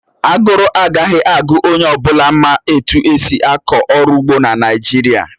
Aguru agaghị agu onye ọ bụla ma etu esi akọ ọrụ ugbo na Naịjirịa